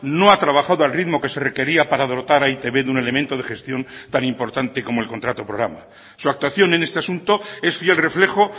no ha trabajado al ritmo que se requería para dotar a e i te be de un elemento de gestión tan importante como el contrato programa su actuación en este asunto es fiel reflejo